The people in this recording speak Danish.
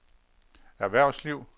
erhvervsliv